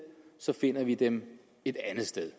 så finder vi dem et andet sted